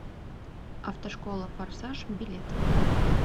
автошкола форсаж билет